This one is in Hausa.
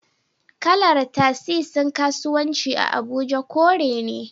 Kalar Tasisin kasuwanci a Abuja kore ne